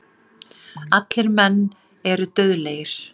Allir menn eru dauðlegir.